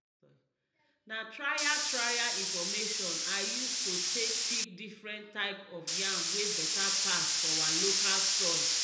na trial trial information i use to take pick different type of yam wey better pass for our local soil